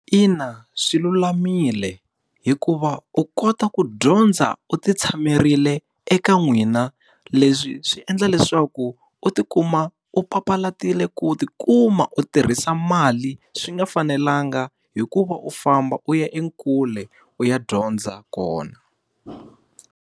Ina swilulamile. Hikuva u kota ku dyondza u ti tshamerile eka n'wina. Leswi swi endla leswaku u ti kuma u papalatile ku ti kuma u tirhisa mali swi nga fanelanga hi ku va u famba u ya ekule u ya dyondza kona.